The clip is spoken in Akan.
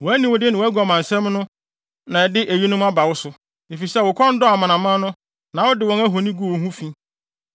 na ɛde eyinom aba wo so, efisɛ wo kɔn dɔɔ amanaman no na wode wɔn ahoni guu wo ho fi.